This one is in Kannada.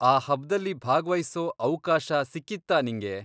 ಆ ಹಬ್ದಲ್ಲಿ ಭಾಗ್ವಹಿಸೋ ಅವ್ಕಾಶ ಸಿಕ್ಕಿತ್ತಾ ನಿಂಗೆ?